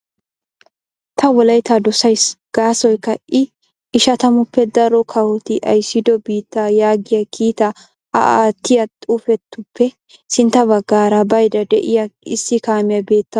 'Ta Wolaytta dossays gaasoykka I ishattamaappe daro kawoti ayssiddo biitta' yaagiyaa kiitaa a attiya xifuufetuppe sintta baggaara baydda de'iyaa issi kaamiyaa beettawus .